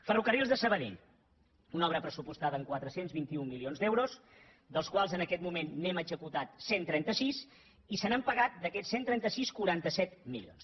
ferrocarrils de sabadell una obra pressupostada en quatre cents i vint un milions d’euros dels quals en aquest moment n’hem executat cent i trenta sis i se n’han pagat d’aquests cent i trenta sis quaranta set milions